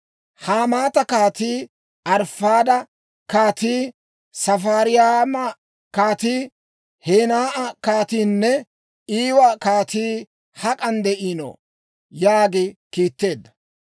Hamaata kaatii, Arifaada kaatii, Safariwayma kaatii, Henaa'a kaatiinne Iiwa kaatii hak'an de'iino?» yaagi kiitteedda.